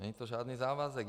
Není to žádný závazek.